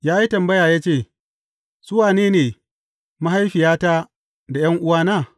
Ya yi tambaya ya ce, Su wane ne mahaifiyata, da ’yan’uwana?